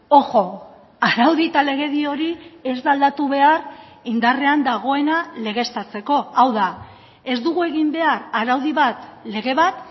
ojo araudi eta legedi hori ez da aldatu behar indarrean dagoena legeztatzeko hau da ez dugu egin behar araudi bat lege bat